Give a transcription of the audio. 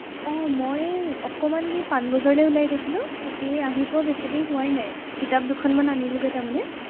আহ মই অকণমান সেই পানবজাৰলৈ ওলাই গৈছিলো, এৰ আহি পোৱা বেছি দেৰি হোৱাই নাই. কিতাপ দুখ মান আনিলোগৈ তাৰমানে।